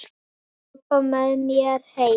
Viltu labba með mér heim!